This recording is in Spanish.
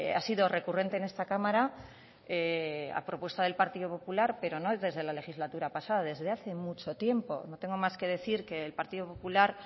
ha sido recurrente en esta cámara a propuesta del partido popular pero no desde la legislatura pasada desde hace mucho tiempo no tengo más que decir que el partido popular